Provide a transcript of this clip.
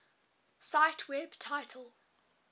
cite web title